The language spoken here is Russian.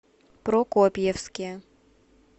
прокопьевске